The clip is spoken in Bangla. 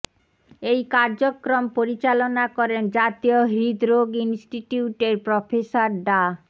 এই কার্যক্রম পরিচালনা করেন জাতীয় হৃদরোগ ইনস্টিটিউটের প্রফেসর ডা